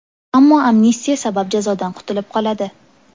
Ammo amnistiya sabab jazodan qutilib qoladi.